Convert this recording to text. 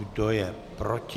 Kdo je proti?